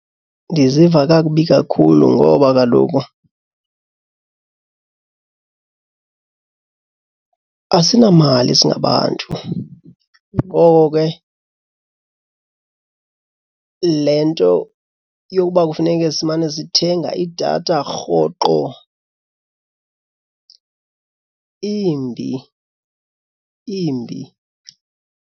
Ndiziva kakubi kakhulu ngoba kaloku asinamali singabantu ngoko ke le nto yokuba kufuneke simane sithenga idatha rhoqo imbi imbi.